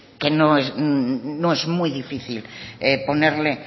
que es no es muy difícil ponerle